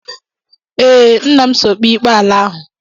Ee, nna m so kpee ikpe ala ahụ.